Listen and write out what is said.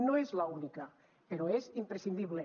no és l’única però és imprescindible